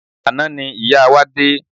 Àná ni ìyá wa dé.